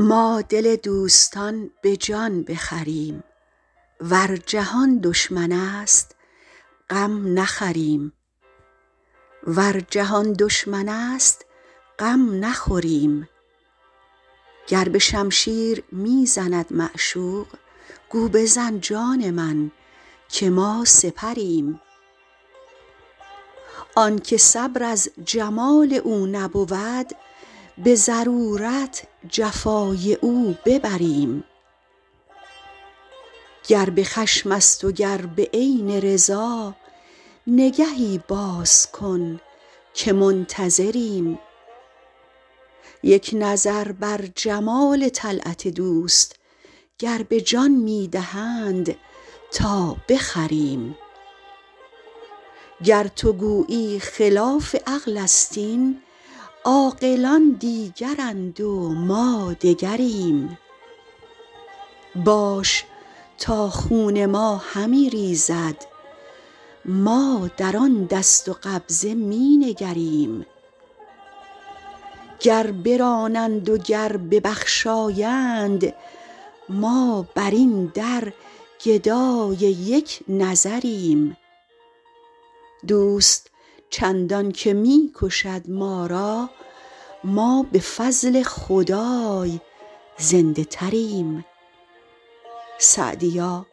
ما دل دوستان به جان بخریم ور جهان دشمن است غم نخوریم گر به شمشیر می زند معشوق گو بزن جان من که ما سپریم آن که صبر از جمال او نبود به ضرورت جفای او ببریم گر به خشم است و گر به عین رضا نگهی باز کن که منتظریم یک نظر بر جمال طلعت دوست گر به جان می دهند تا بخریم گر تو گویی خلاف عقل است این عاقلان دیگرند و ما دگریم باش تا خون ما همی ریزد ما در آن دست و قبضه می نگریم گر برانند و گر ببخشایند ما بر این در گدای یک نظریم دوست چندان که می کشد ما را ما به فضل خدای زنده تریم سعدیا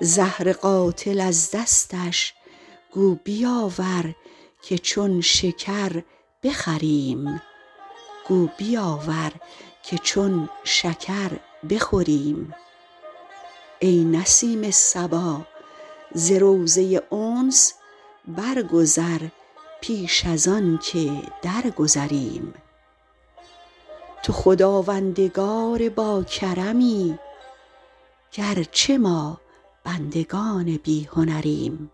زهر قاتل از دستش گو بیاور که چون شکر بخوریم ای نسیم صبا ز روضه انس برگذر پیش از آن که درگذریم تو خداوندگار باکرمی گر چه ما بندگان بی هنریم